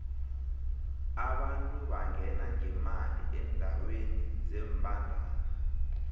abantu bangena ngemali endeweni zembandana